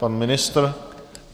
Pan ministr?